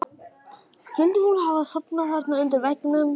Skyldi hún hafa sofnað þarna undir veggnum?